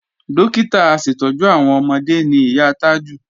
Dókítà aṣètọ́jú àwọn ọmọde ni ìyá Tájù